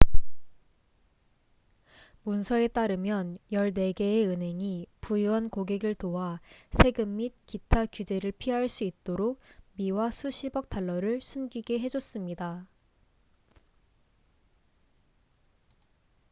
문서에 따르면 14개의 은행이 부유한 고객을 도와 세금 및 기타 규제를 피할 수 있도록 미화 수십억 달러를 숨기게 해줬습니다